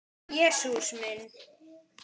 Jesús minn.